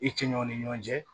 I cɛɲɔ ni ɲɔgɔn cɛ